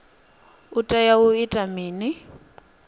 u tea u ita mini